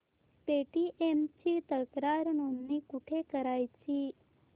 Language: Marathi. पेटीएम ची तक्रार नोंदणी कुठे करायची